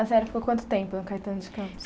A senhora ficou quanto tempo no Caetano de Campos?